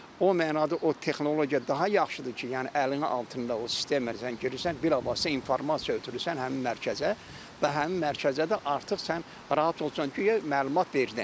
O mənada o texnologiya daha yaxşıdır ki, yəni əlinin altında o sistemə sən girirsən, dərhal da sən informasiya ötürürsən həmin mərkəzə və həmin mərkəzə də artıq sən rahat olursan, guya məlumat verdin.